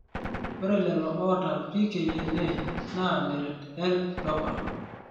ore lelo oota PKNA naa meret L dopa.